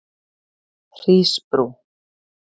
Hrísbrú